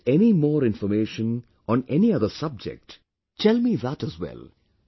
If you get any more information on any other subject, then tell me that as well